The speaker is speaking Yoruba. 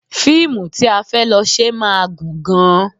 Fíìmù tí a fẹ́ lọ ṣe máa gùn gan-an